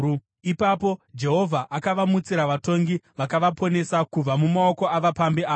Ipapo Jehovha akavamutsira vatongi vakavaponesa kubva mumaoko avapambi ava.